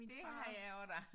Det havde jeg også da